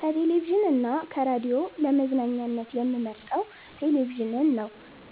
ከቴሌቪዥን እና ከራዲዮ ለመዝናኛነት የምመርጠው ቴሌቪዥንን ነው።